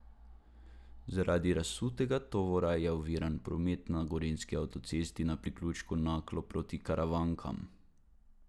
Zaradi razsutega tovora je oviran promet na gorenjski avtocesti na priključku Naklo proti Karavankam.